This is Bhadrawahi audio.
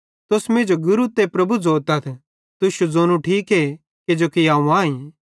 तुस मींजो गुरू ते प्रभु ज़ोतथ तुश्शू ज़ोनू ठीके किजोकि अवं आईं